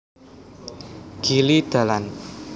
Gili dalan